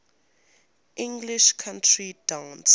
english country dance